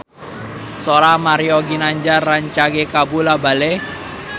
Sora Mario Ginanjar rancage kabula-bale